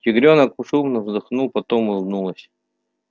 тигрёнок шумно вздохнула потом улыбнулась